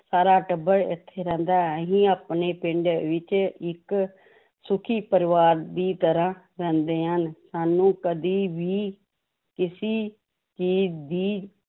ਸਾਰਾ ਟੱਬਰ ਇੱਥੇ ਰਹਿੰਦਾ ਹੈ ਅਸੀਂ ਆਪਣੇ ਪਿੰਡ ਵਿੱਚ ਇੱਕ ਸੁੱਖੀ ਪਰਿਵਾਰ ਦੀ ਤਰ੍ਹਾਂ ਰਹਿੰਦੇ ਹਾਂ ਸਾਨੂੰ ਕਦੇ ਵੀ ਕਿਸੇ ਚੀਜ਼ ਦੀ